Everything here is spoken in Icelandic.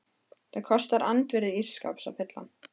Það kostar andvirði ís skáps að fylla hann.